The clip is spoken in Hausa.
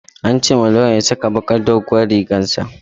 An ce wa lawyan ya saka bakar doguwar rigar sa